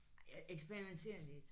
Jeg eksperimenterer lidt